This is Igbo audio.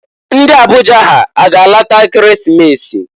Ndị Abuja ha a ga-alata Ekeresimesi?